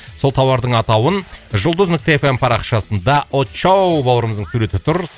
сол тауардың атауын жұлдыз нүкте эф эм парақшасында очоу бауырымыздың суреті тұр